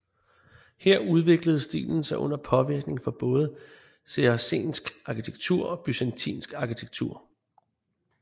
Her udviklede stilen sig under påvirkning fra både saracensk arkitektur og byzantinsk arkitektur